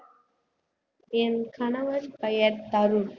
என் கணவர் பெயர் தருண்